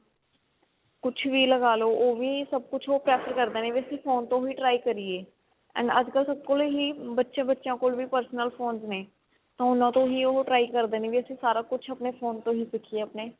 ਕੁਛ ਵੀ ਲਗਾਲੋ ਉਹੀ ਸਭ ਕੁਝ ਉਹ prefer ਕਰਦੇ ਨੇ ਵੀ ਅਸੀਂ phone ਤੋਂ ਹੀ try ਕਰੀਏ and ਅੱਜਕਲ ਸਭ ਕੋਲ ਹੀ ਬੱਚੇ ਬੱਚਿਆਂ ਕੋਲ ਵੀ personal phone ਨੇ ਉਹਨਾ ਤੋਂ ਹੀ try ਕਰਦੇ ਨੇ ਵੀ ਅਸੀਂ ਸਾਰਾ ਕੁਛ ਆਪਣੇ phone ਤੋਂ ਹੀ ਸਿੱਖੀਏ ਆਪਣੇ